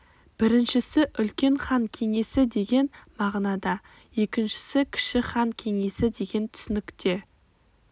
біріншісі үлкен хан кеңесі деген мағынада екіншісі кіші хан кеңесі деген түсінікте